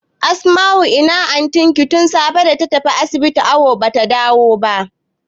Asma'u ina antin ki tun safe data tafi asibiti awu bata dawo ba?